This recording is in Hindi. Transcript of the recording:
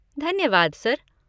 धन्यवाद सर।